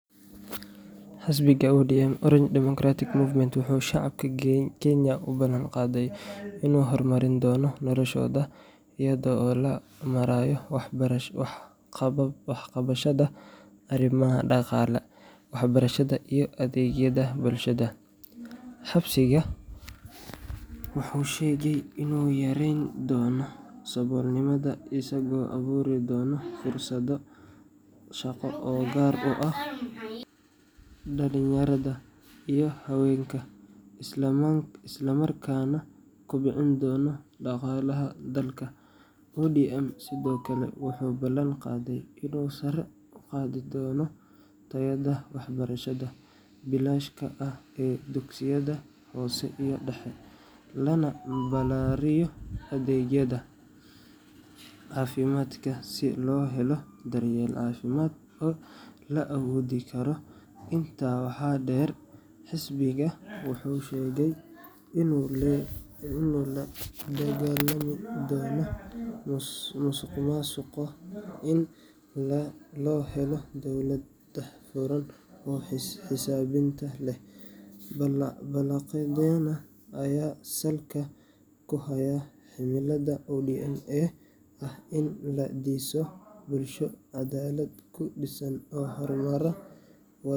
Xisbiga ODM Orange Democratic Movement wuxuu shacabka Kenya u ballan qaaday inuu horumarin doono noloshooda iyada oo loo marayo wax ka qabashada arrimaha dhaqaalaha, waxbarashada, iyo adeegyada bulshada. Xisbiga wuxuu sheegay inuu yareyn doono saboolnimada isagoo abuuri doona fursado shaqo oo gaar u ah dhalinyarada iyo haweenka, isla markaana kobcin doona dhaqaalaha dalka. ODM sidoo kale wuxuu ballan qaaday inuu sare u qaadi doono tayada waxbarashada bilaashka ah ee dugsiyada hoose iyo dhexe, lana ballaariyo adeegyada caafimaadka si loo helo daryeel caafimaad oo la awoodi karo. Intaa waxaa dheer, xisbiga wuxuu sheegay inuu la dagaalami doono musuqmaasuqa si loo helo dowlad daahfuran oo xisaabtan leh. Ballanqaadyadan ayaa salka ku haya himilada ODM ee ah in la dhiso bulsho caddaalad ku dhisan oo horumaraa.